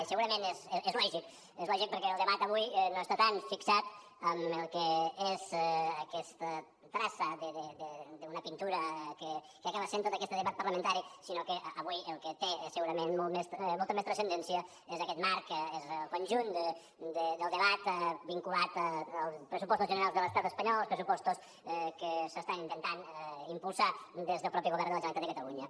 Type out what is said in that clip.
i segurament és lògic és lògic perquè el debat avui no està tant fixat en el que és aquesta traça d’una pintura que acaba sent tot aquest debat parlamentari sinó que avui el que té segurament molta més transcendència és aquest marc és el conjunt del debat vinculat als pressupostos generals de l’estat espanyol els pressupostos que s’estan intentant impulsar des del mateix govern de la generalitat de catalunya